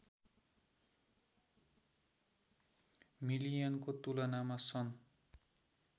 मिलियनको तुलनामा सन्